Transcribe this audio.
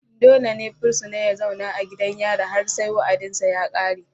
dole ne fursuna ya zauna a gidan yari har sai wa'adinsa ya kare.